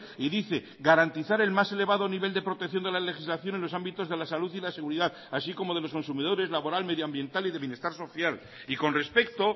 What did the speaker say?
y dice garantizar el más elevado nivel de protección de la legislación en los ámbitos de la salud y la seguridad así como de los consumidores laboral medioambiental y de bienestar social y con respecto